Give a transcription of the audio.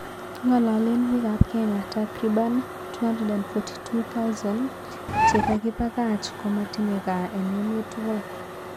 Kingalalen pik ap kenya tarkiban 242,000 che kakipakach komatinye gaa en emet tugul